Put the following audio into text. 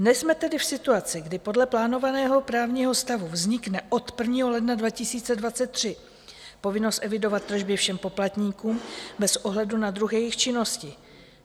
Dnes jsme tedy v situaci, kdy podle plánovaného právního stavu vznikne od 1. ledna 2023 povinnost evidovat tržby všem poplatníkům bez ohledu na druh jejich činnosti.